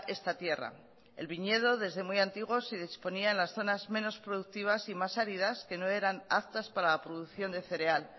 esta tierra el viñedo desde muy antiguo se disponían las zonas menos productivas y más áridas que no eran aptas para la producción de cereal